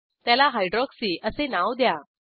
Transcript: त्याला हायड्रॉक्सी असे नाव द्या